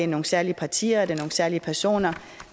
nogle særlige partier eller nogle særlige personer